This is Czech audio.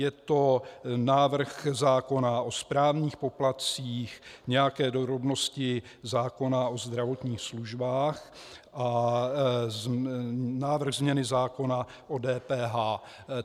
Je to návrh zákona o správních poplatcích, nějaké drobnosti zákona o zdravotních službách a návrh změny zákona o DPH.